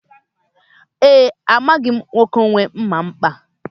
E, amaghị m nwoke nwe mma mkpa a.